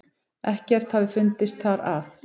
Ekkert hafi fundist þar að